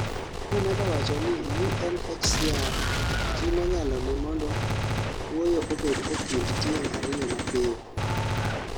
nomedo wachoni UNHCR timo nyalone mondo wuoyo obed e kind tieng' ariyo mapiyo